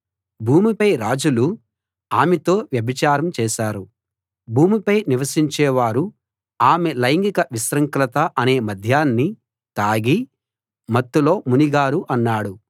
భూమిపై రాజులు ఆమెతో వ్యభిచారం చేశారు భూమిపై నివసించే వారు ఆమె లైంగిక విశృంఖలత అనే మద్యాన్ని తాగి మత్తులో మునిగారు అన్నాడు